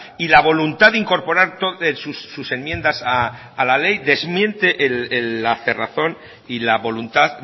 y la voluntad de incorporar sus enmiendas a la ley desmiente la cerrazón y la voluntad